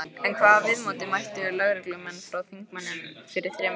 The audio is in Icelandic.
En hvaða viðmóti mættu lögreglumenn frá þingmönnum fyrir þremur árum?